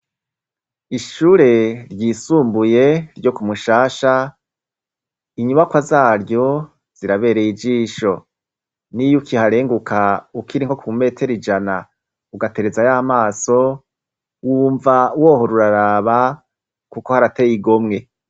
Ishure ryisumbuye ryo ku Mushasha inyubakwa zaryo zirabereye ijisho. N'iyo ukiharenguka ukiri nko ku metero ijana ugaterezayo amaso wumva wohora uraraba kuko harateye igomwe.